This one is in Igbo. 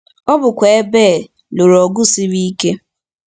Ọ bụkwa ebe e lụrụ ọgụ siri ike.